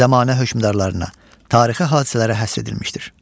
Zəmanə hökmdarlarına, tarixi hadisələrə həsr edilmişdir.